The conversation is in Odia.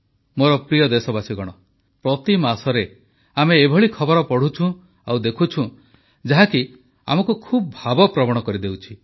ମୋର ପ୍ରିୟ ଦେଶବାସୀଗଣ ପ୍ରତି ମାସରେ ଆମେ ଏଭଳି ଖବର ପଢ଼ୁଛୁଁ ଆଉ ଦେଖୁଛୁଁ ଯାହାକି ଆମକୁ ଖୁବ୍ ଭାବପ୍ରବଣ କରିଦେଉଛି